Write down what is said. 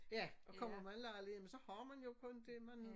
Ja og kommer man i lejlighed jamen så har man jo kun det man